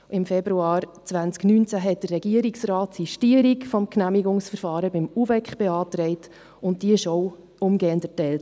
Im Februar 2019 beantragte der Regierungsrat dem UVEK die Sistierung des Genehmigungsverfahrens, und diese wurde auch umgehend erteilt.